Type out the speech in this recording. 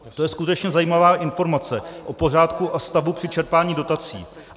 To je skutečně zajímavá informace o pořádku a stavu při čerpání dotací.